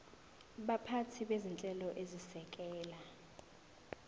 baphathi bezinhlelo ezisekela